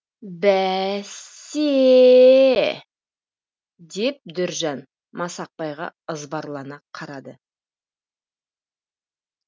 бә сс се ее деп дөржан масақбайға ызбарлана қарады